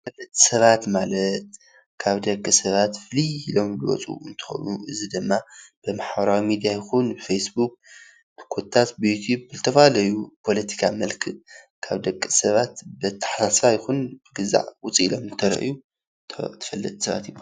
ተፈለጥቲ ሰባት ማለት ካብ ደቂ ሰባት ፍልይ ኢሎም ዝወፁ እንትኮኑ እዚ ድማ ብማሕበራዊ ሚድያ ይኩን ብፌስቡክ ኮታስ ብዩቲቭ ብዝተፈላለዩ ካብ ደቂ ሰባት ብአተሓሳስባ ይኩን ብካሊእ ውፅእ ኢሎም ዝተረከቡ ተፈለጥቲ ሰባት ይብሃሉ፡፡